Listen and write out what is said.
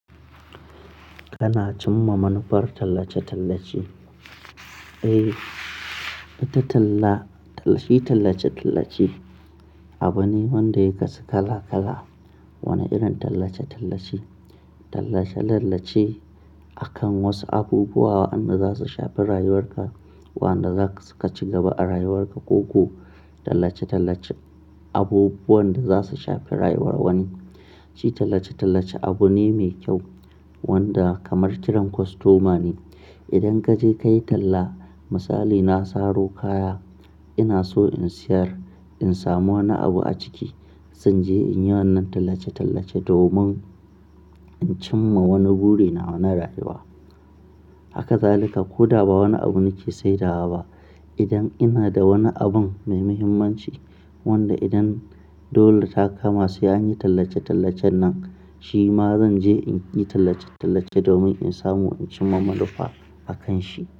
Kana cimma manufar tallace-tallace? Eh, ita tallace-tallace abu ne wanda ya kasu kala-kala. Wani irin tallace-tallace akan wasu abubuwa waɗanda za su shafi rayuwar ka ko waɗanda zasu ka ci gaba a rayuwar ka ko ko Tallace-tallace abubuwan da za su shafi rayuwar wani shi tallace-tallace abu ne mai kyau wanda kamar kiran kostoma ne. Idan ka je ka yi talla, misali na saro kaya ina so in siyar, in samu wani abu a ciki zan je in yi wannan tallace-tallace domin in cimma wani buri na na rayuwa. Haka zalika. Ko da ba wani abu nake saidawa ba, idan ina da wani abun mai muhimmanci wanda idan dole ta kama sai an yi tallace-tallacen nan shi ma zan je in yi tallace-tallace domin in samu in cimma manufa akan shi.